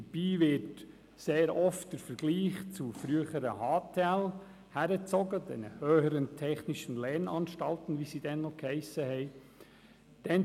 Dabei wird sehr oft der Vergleich mit den früheren «Höheren Technischen Lehranstalten (HTL)», wie sie damals hiessen, gemacht.